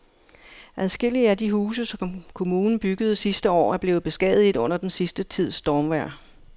Adskillige af de huse, som kommunen byggede sidste år, er blevet beskadiget under den sidste tids stormvejr.